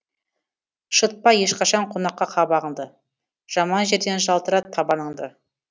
шытпа ешқашан қонаққа қабағыңды жаман жерден жалтырат табаныңды